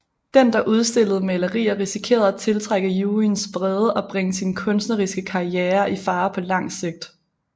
Den der udstillede malerier risikerede at tiltrække juryens vrede og bringe sin kunstneriske karriere i fare på lang sigt